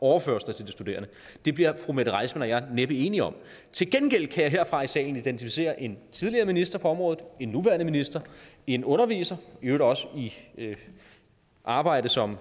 overførsler til de studerende det bliver fru mette reissmann og jeg næppe enige om til gengæld kan jeg herfra i salen identificere en tidligere minister på området en nuværende minister en underviser i øvrigt også i arbejde som